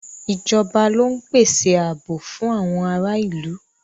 Ìjọba ló ń pàṣẹ ààbò fún àwọn ará ìlú.